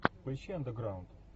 поищи андеграунд